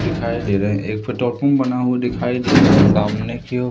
दिखाई दे रहा है। एक बना हुआ दिखाई दे रहा है सामने की ओर--